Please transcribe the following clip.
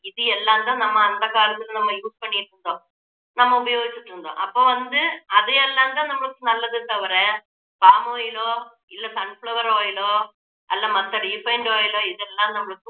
இது எல்லாம் தான் நம்ம அந்த காலத்துல நம்ம use பண்ணிக்கிட்டு இருந்தோம் நம்ம உபயோகிச்சிகிட்டு இருந்தோம் அப்போ வந்து அது எல்லாம் தான் நமக்கு நல்லதே தவிர palm oil லோ இல்ல sunflower oil லோ அல்ல மத்த refined oil லோ இதெல்லாம் நம்மளுக்கு